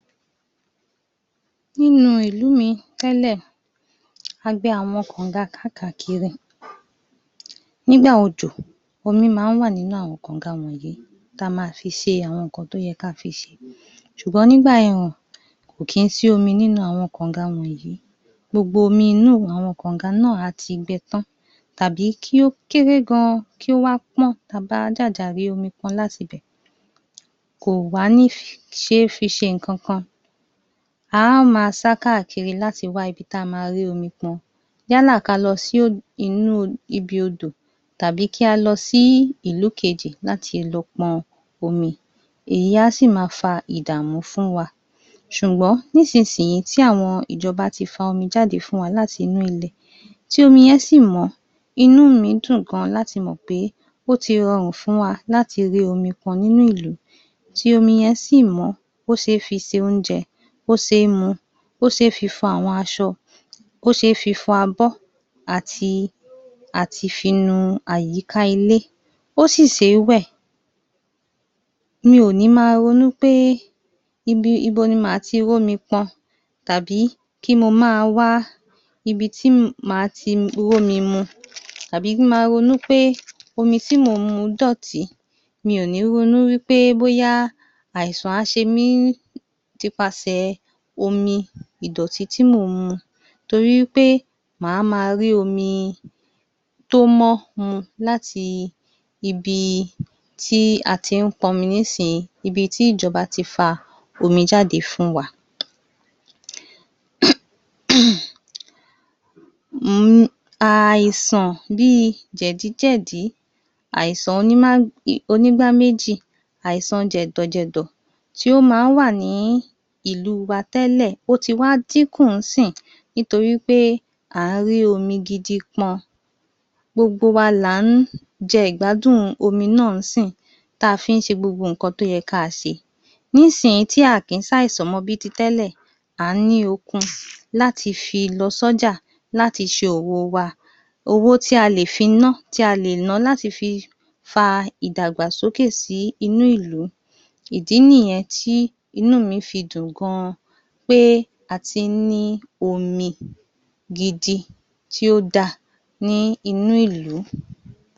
‎Nínú ìlú mi tẹ́lẹ̀ a gbẹ́ àwọn kàǹga káààkiri nígbà òjò omi máa ń wà nínú àwọn kọ̀ǹga wọ̀nyí tí a máa fi ṣe àwọn nǹkan tí ó yẹ kí á fi ṣe ṣùgbọ́n nígbà ẹ̀rùn kò kí ń sí omi nínú àwọn kọ̀ǹga wọ̀nyí gbogbo omi inú kọ̀ǹga náà á ti gbẹ tán tàbí kí ó kééré gan kí ó wá pọ́n tí a bá jàjà rí omi pọn láti ibẹ̀ kò wá ní fi ṣe é ṣe nǹkan kan a ó wá máa sá káàkiri láti wá ibi tí a ti máa rí omi pọn yálà kí á lọ sí ibi inú Odò tàbí kí á lọ sí ìlú kejì láti lọ pọn omi èyí á sì máa fa ìdààmú fún wa ṣùgbọ́n nísinsìnyí tí àwọn ìjọba ti fa omi fún wa láti inú ilẹ̀ tí omi yẹn sì mọ́ inú mi dùn gan láti mọ̀ pé ó ti rọrùn fún wa láti rí omi pọn nínú ìlú láti mọ̀ pé ó ti rọrù tí omi yẹn sì mọ́ tí ó ṣe é fi ṣe oúnjẹ tí ó ṣe é mú tí ó ṣe é fi fọ àwọn aṣọ, tí ó ṣe fi fọ abọ́ ati àti àwọn àyíká ilé tí ó sì fi ṣe é wẹ̀ mi ò ní máa ronú pé ibo màá ti rí omi pọn tàbí kì n máa wá ibi tí màá ti rómi mu tàbí kí n máa ronú pé omi tí mò ń mu dọ̀tí mi ò ní ronú wí pé bóyá àìsàn á ṣe mí láti nípasẹ̀ omi ìdọ̀tí tí mò ń mu nítorí pé máa máa rí omi tí ó mọ́ mu láti ibi ibi tí a ti ń pọn omi nísì ín ibi tí ìjọba ti fa omi jáde fún wa àìsàn bíi jẹ̀díjẹ̀dí àìsàn onígbá méjì, àìsàn jẹ̀dọ̀ jẹ̀dọ̀ tí ó máa ń wà ní ìlú wa tẹ́lẹ̀ ó ti wá dínku nítorí pé à ń rí omi gidi pọn ‎gbogbo wa là ń jẹ ìgbádùn omi náà ń sì ín tí a fi ń ṣe gbogbo nǹkan tí ó yẹ kí á ṣe nísinsìnyí tí kò sí àìsàn mọ́ bíi ti tẹ́lẹ̀ à ń ní okun láti fi lọ sọ́ja láti ṣe òwò wa ‎ owó tí a lè fi bá tí a lè ná láti fi fa ìdàgbàsókè sí inú ìlú ìdí nìyẹn tí inú mi fi dùn gan pé a ti ń ní omi pé a ti ń ní omi gidi tí ó dá a ní inú ìlú